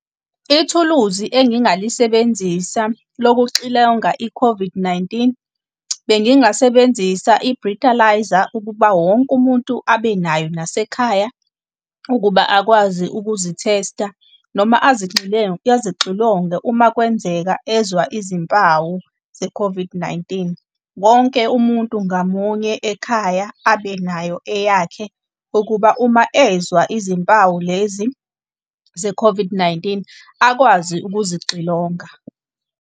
Ithuluzi engingalisebenzisa lokuxilonga i-COVID-19, bengingasebenzisa i-breathalyser ukuba wonke umuntu abenayo nasekhaya, ukuba akwazi ukuzithesta noma azixilonge uma kwenzeka ezwa izimpawu ze-COVID-19. Wonke umuntu ngamunye ekhaya abe nayo eyakhe, ukuba uma ezwa izimpawu lezi ze-COVID-19 akwazi ukuzixilonga.